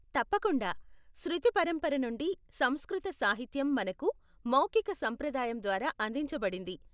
తప్పకుండా! శృతి పరంపర నుండి, సంస్కృత సాహిత్యం మనకు మౌఖిక సాంప్రదాయం ద్వారా అందించబడింది.